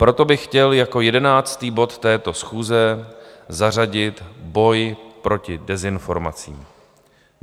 Proto bych chtěl jako jedenáctý bod této schůze zařadit Boj proti dezinformacím.